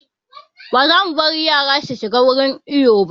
Ba za mu bari yara su shiga wurin iyo ba